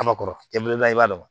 A ma kɔrɔ den belebeleba i b'a dɔn